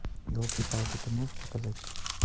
елки палки ты можешь показать